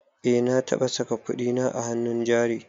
Eh na taɓa saka kudina a hannun jari